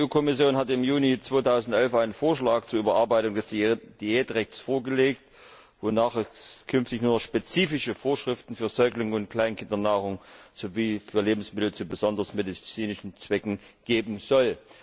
Die EU Kommission hat im Juni 2011 einen Vorschlag zur Überarbeitung des Diätrechts vorgelegt, wonach es künftig nur noch spezifische Vorschriften für Säuglings und Kleinkindernahrung sowie für Lebensmittel für besondere medizinische Zwecke geben soll.